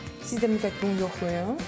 Siz də mütləq bunu yoxlayın.